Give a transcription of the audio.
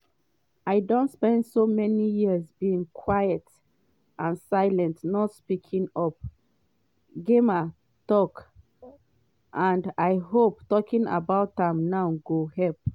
“i don spend so many years being quiet and silent not speaking up” gemma tok “and i hope talking about am now go help.